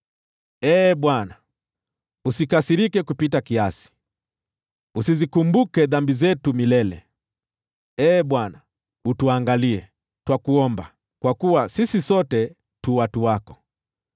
Ee Bwana , usikasirike kupita kiasi, usizikumbuke dhambi zetu milele. Ee Bwana, utuangalie, twakuomba, kwa kuwa sisi sote tu watu wako.